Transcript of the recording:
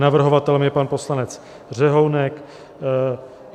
Navrhovatelem je pan poslanec Řehounek.